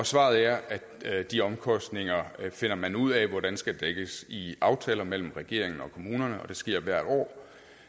svaret er at de omkostninger finder man ud af hvordan skal dækkes i aftaler mellem regeringen og kommunerne og det sker hvert år